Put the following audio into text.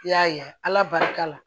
I y'a ye ala barika la